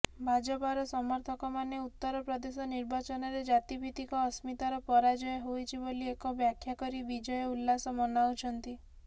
ଭାଜପାର ସମର୍ଥକମାନେ ଉତ୍ତରପ୍ରଦେଶ ନିର୍ବାଚନରେ ଜାତିଭିତିକ ଅସ୍ମିତାର ପରାଜୟ ହୋଇଛି ବୋଲି ଏକ ବାଖ୍ୟାକରି ବିଜୟ ଉଲ୍ଲାସ ମନାଉଛନ୍ତି